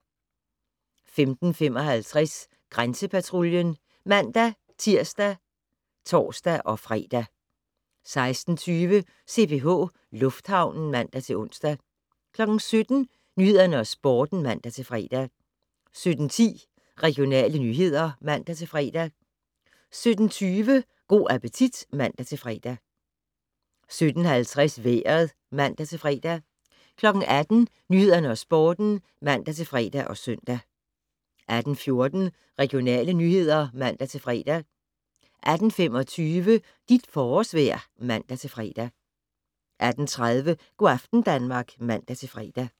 15:55: Grænsepatruljen (man-tir og tor-fre) 16:20: CPH Lufthavnen (man-ons) 17:00: Nyhederne og Sporten (man-fre) 17:10: Regionale nyheder (man-fre) 17:20: Go' appetit (man-fre) 17:50: Vejret (man-fre) 18:00: Nyhederne og Sporten (man-fre og søn) 18:14: Regionale nyheder (man-fre) 18:25: Dit forårsvejr (man-fre) 18:30: Go' aften Danmark (man-fre)